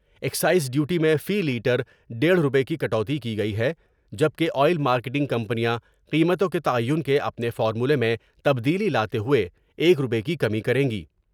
ا excise duty میں فی litre دیڑھ روپے کی کٹوتی کی گئی ہے جب کہ آئل مارکیٹنگ کمپنیاں قیمتوں کے تعین کے اپنے فارمولے میں تبدیلی لاتے ہوۓ ایک روپے کی کمی کر یں گی ۔